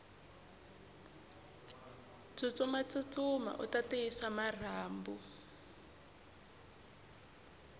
tsutsuma tsutsuma uta tiyisa marhambu